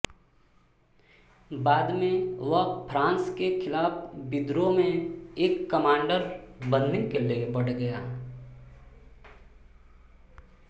बाद में वह फ्रांस के खिलाफ विद्रोह में एक कमांडर बनने के लिए बढ़ गया